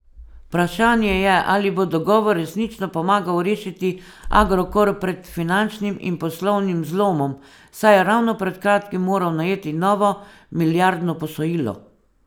Vprašanje je, ali bo dogovor resnično pomagal rešiti Agrokor pred finančnim in poslovnim zlomom, saj je ravno pred kratkim moral najeti novo milijardno posojilo.